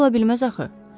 O ola bilməz axı.